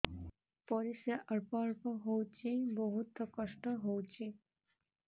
ପରିଶ୍ରା ଅଳ୍ପ ଅଳ୍ପ ହଉଚି ବହୁତ କଷ୍ଟ ହଉଚି